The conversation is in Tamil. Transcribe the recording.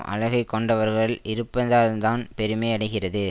அழகைக் கொண்டவர்கள் இருப்பதால்தான் பெருமை அடைகிறது